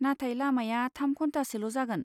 नाथाय, लामाया थाम घन्थासोल' जागोन।